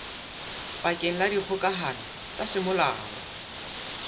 bakeng la dikgokahano tsa semolao